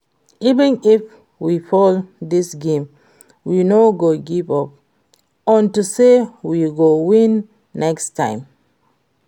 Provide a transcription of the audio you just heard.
Even if we fail dis game we no go give up unto say we go win next time